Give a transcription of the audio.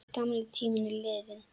Gamli tíminn er liðinn.